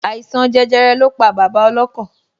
Àìsàn jẹjẹrẹ lọ pa bàbá ọlọ́kọ̀